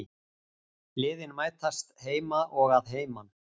Liðin mætast heima og að heiman